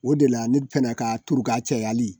O de la ne fana ka turu ka cayali